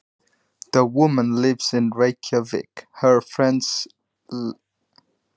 Konan býr í Reykjavík. Vinur hennar býr á Akureyri.